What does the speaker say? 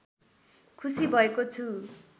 खुसी भएको छु